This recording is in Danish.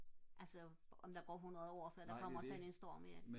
altså om der går hundrede år før der kommer sådan en storm igen